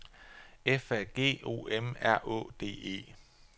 F A G O M R Å D E